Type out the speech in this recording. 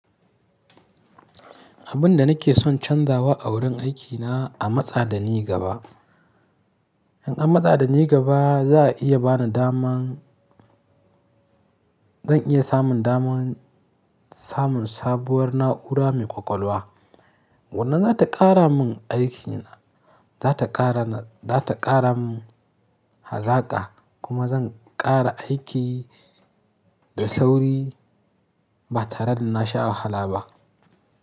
Abin da nake son canzawa a wurin aikina a matsa da ni gaba, in an matsa da ni gaba za a iya bani daman, zan iya samun daman samun sabuwar na'ura mai ƙwaƙwalwa, wannan za ta ƙara min aiki na, za ta ƙara na, za ta ƙara min hazaƙa kuma zan ƙara aiki da sauri ba tare da nasha wahala ba.